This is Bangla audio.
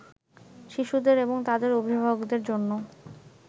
শিশুদের এবং তাদের অভিভাবকদের জন্য